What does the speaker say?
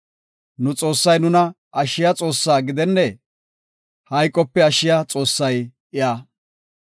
Nu Xoossay nuna ashshiya Xoossaa gidennee? Hayqope ashshiya Xoossay iya.